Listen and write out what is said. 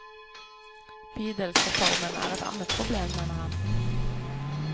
Bydelsreformen er et annet problem, mener han.